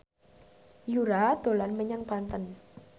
Yura dolan menyang Banten